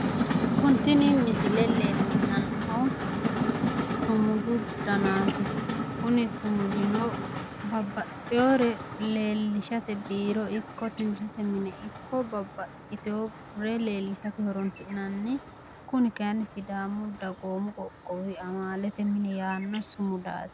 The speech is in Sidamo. tini misile leellishshannohu sumudu danaati kuni sumudino babbaxewore leellishshate biiro ikko timirtete minna babbaxitewore leellishate horonsi'nanni kuni kayiinni sidaamu dagoomu qoqowi amaalete mine yaanno sumudaati.